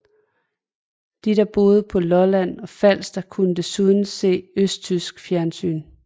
De der boede på Lolland og Falster kunne desuden se østtysk fjernsyn